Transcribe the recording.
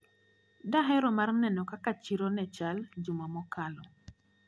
Dahero mar neno kaka chiro nechal juma mokalo.